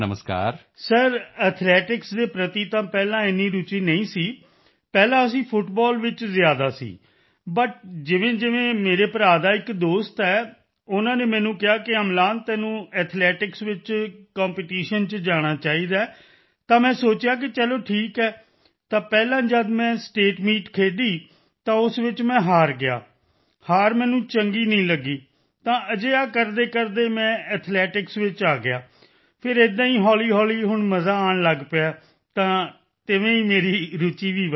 Amlan sir athletics ਦੇ ਪ੍ਰਤੀ ਤਾਂ ਪਹਿਲਾਂ ਇੰਨੀ ਰੁਚੀ ਨਹੀਂ ਸੀ ਪਹਿਲਾਂ ਅਸੀਂ ਫੁੱਟਬਾਲ ਵਿੱਚ ਜ਼ਿਆਦਾ ਸੀ ਬਟ ਜਿਵੇਂਜਿਵੇਂ ਮੇਰੇ ਭਰਾ ਦਾ ਇੱਕ ਦੋਸਤ ਹੈ ਉਨ੍ਹਾਂ ਨੇ ਮੈਨੂੰ ਕਿਹਾ ਕਿ ਅਮਲਾਨ ਤੈਨੂੰ ਐਥਲੈਟਿਕਸ ਵਿੱਚ ਕੰਪੈਟੀਸ਼ਨ ਚ ਜਾਣਾ ਚਾਹੀਦਾ ਹੈ ਤਾਂ ਮੈਂ ਸੋਚਿਆ ਕਿ ਚਲੋ ਠੀਕ ਹੈ ਤਾਂ ਪਹਿਲਾਂ ਜਦ ਮੈਂ ਸਟੇਟ ਮੀਟ ਖੇਡੀ ਤਾਂ ਉਸ ਵਿੱਚ ਮੈਂ ਹਾਰ ਗਿਆ ਹਾਰ ਮੈਨੂੰ ਚੰਗੀ ਨਹੀਂ ਲਗੀ ਤਾਂ ਅਜਿਹਾ ਕਰਦੇਕਰਦੇ ਮੈਂ ਐਥਲੈਟਿਕਸ ਵਿੱਚ ਆ ਗਿਆ ਫਿਰ ਏਦਾਂ ਹੀ ਹੌਲ਼ੀਹੌਲ਼ੀ ਹੁਣ ਮਜ਼ਾ ਆਉਣ ਲੱਗ ਪਿਆ ਹੈ ਤਾਂ ਤਿਵੇਂ ਹੀ ਮੇਰੀ ਰੁਚੀ ਵਧ ਗਈ